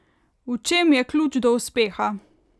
V čem je ključ do uspeha?